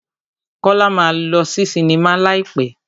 Kọ́lá máa lọ sí sinimá láì pẹ́.